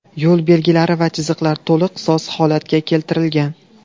Yo‘l belgilari va chiziqlari to‘liq soz holatga keltirilgan.